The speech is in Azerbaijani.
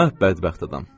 Hə, bədbəxt adam.